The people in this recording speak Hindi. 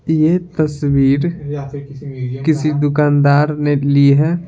यह तस्वीर किसी दुकानदार ने ली है।